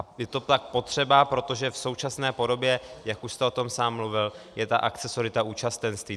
Je to fakt potřeba, protože v současné podobě, jak už jste o tom sám mluvil, je ta akcesorita účastenství.